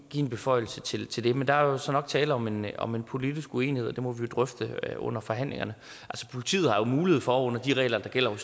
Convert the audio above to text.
en beføjelse til til det men der er jo så nok tale om en om en politisk uenighed og det må vi jo drøfte under forhandlingerne politiet har mulighed for under de regler der gælder